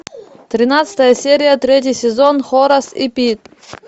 тринадцатая серия третий сезон хорас и пит